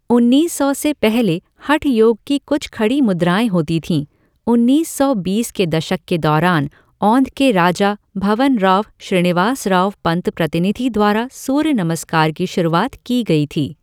उन्नीस सौ से पहले हठ योग की कुछ खड़ी मुद्राएं होती थीं, उन्नीस सौ बीस के दशक के दौरान औंध के राजा भवनराव श्रीनिवासराव पंत प्रतिनिधि द्वारा सूर्य नमस्कार की शुरुआत की गई थी।